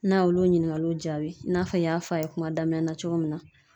N'a ye olu ɲininkaliw jaabi i n'a fɔ n y'a fɔ a ye kuma daminɛ na cogo min na